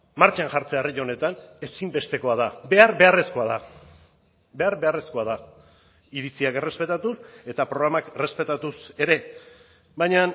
martxan jartzea herri honetan ezinbestekoa da behar beharrezkoa da behar beharrezkoa da iritziak errespetatuz eta programak errespetatuz ere baina